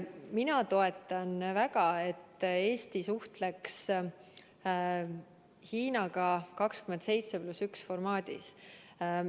Ma toetan väga seda, et Eesti suhtleks Hiinaga 27 + 1 formaadis.